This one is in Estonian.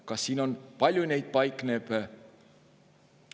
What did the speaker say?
Kas siin on kirjas, palju neid paikneb?